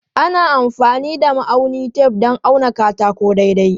Ana amfani da ma'aunin tef don auna katako daidai.